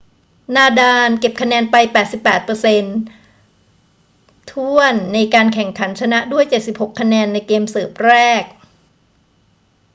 นาดาลเก็บคะแนนไป 88% ถ้วนในการแข่งขัน ชนะด้วย 76 คะแนนในเกมเสิร์ฟแรก